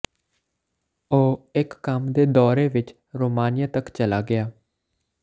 ਉਹ ਇੱਕ ਕੰਮ ਦੇ ਦੌਰੇ ਵਿਚ ਰੋਮਾਨੀਆ ਤੱਕ ਚਲਾ ਗਿਆ